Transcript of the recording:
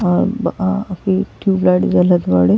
अब अ अभी टूयबलाइट जलत बाड़े।